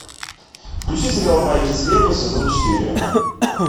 включи сериал байки из склепа сезон четыре